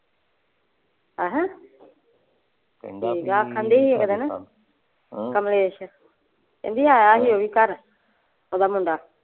ਅਹ ਠੀਕ ਆ ਕਹਿੰਦਾ ਬੀ ਹਮ ਕਮਲੇਸ਼ ਕਹਿੰਦੀ ਆਇਆ ਸੀ ਓਹ ਵੀ ਘਰ ਓਹਦਾ ਮੁੰਡਾ।